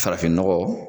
Farafinnɔgɔ